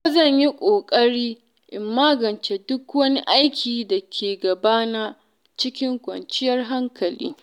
Yau zan yi kokari in magance duk wani aiki da ke gabana cikin kwanciyar hankali.